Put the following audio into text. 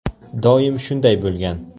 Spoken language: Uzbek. Doim shunday bo‘lgan.